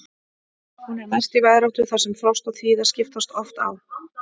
Hún er mest í veðráttu þar sem frost og þíða skiptast oft á.